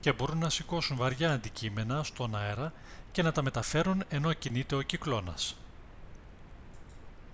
και μπορούν να σηκώσουν βαριά αντικείμενα στον αέρα και να τα μεταφέρουν ενώ κινείται ο κυκλώνας